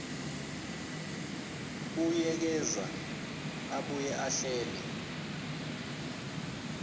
buyekeza abuye ahlele